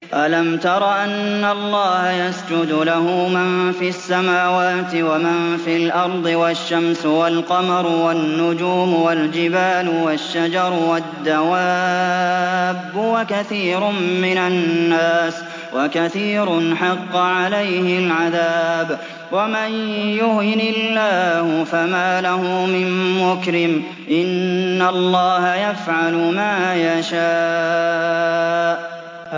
أَلَمْ تَرَ أَنَّ اللَّهَ يَسْجُدُ لَهُ مَن فِي السَّمَاوَاتِ وَمَن فِي الْأَرْضِ وَالشَّمْسُ وَالْقَمَرُ وَالنُّجُومُ وَالْجِبَالُ وَالشَّجَرُ وَالدَّوَابُّ وَكَثِيرٌ مِّنَ النَّاسِ ۖ وَكَثِيرٌ حَقَّ عَلَيْهِ الْعَذَابُ ۗ وَمَن يُهِنِ اللَّهُ فَمَا لَهُ مِن مُّكْرِمٍ ۚ إِنَّ اللَّهَ يَفْعَلُ مَا يَشَاءُ ۩